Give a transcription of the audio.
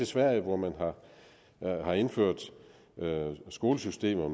sverige hvor man har indført skolesystemer